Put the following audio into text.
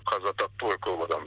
қаза тапты ғой көп адам